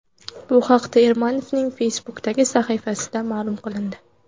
Bu haqda Ermanovning Facebook’dagi sahifasida ma’lum qilindi .